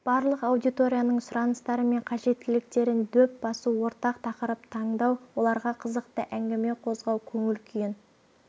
барлық аудиторияның сұраныстары мен қажеттіліктерін дөп басу ортақ тақырып таңдау оларға қызықты әңгіме қозғау көңіл күйін